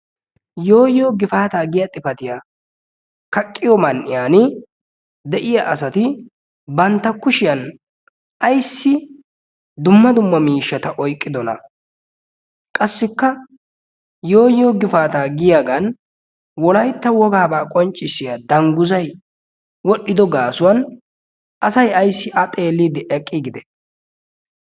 yoo yoo gifaataa giya xifatiya kaqqiyo man''iyan de'iya asati bantta kushiyan ayssi dumma dumma miishshata oyqqidona qassikka yooyiyo gifaataa giyaagan wolaytta wogaabaa qonccissiya dangguzay wodhdhido gaasuwan asay ayssi a xeelliiddi eqqi gide